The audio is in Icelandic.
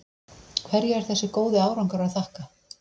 Hverju er þessi góði árangur að þakka?